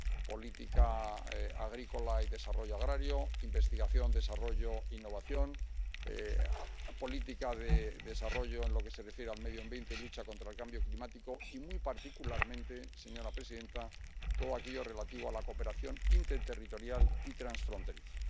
política agrícola y desarrollo agrario, investigación, desarrollo e innovación, política de desarrollo en lo que se refiere al medio ambiente y lucha contra el cambio climático, y muy particularmente, señora presidenta, todo aquello relativo a la cooperación interterritorial y transfronteriza.